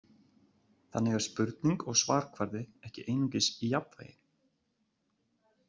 Þannig er spurning og svarkvarði ekki einungis í jafnvægi.